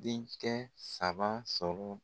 Den kɛ saba sɔrɔ